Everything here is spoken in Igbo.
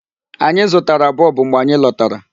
Anyi zụtara bulb mgbe anyị lọtara.